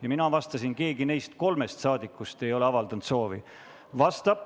Ja mina vastasin, et mitte keegi neist kolmest saadikust ei ole avaldanud soovi.